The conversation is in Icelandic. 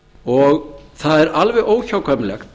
og það er alveg óhjákvæmilegt